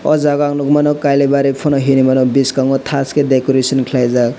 o jaga ang nogoi mano kailabari pano hinui mano biskango tash ke decoration khelaijak.